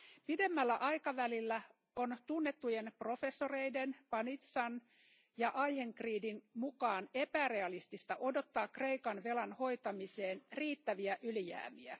Pidemmällä aikavälillä on tunnettujen professoreiden Panizzan ja Eichengreenin mukaan epärealistista odottaa Kreikan velan hoitamiseen riittäviä ylijäämiä.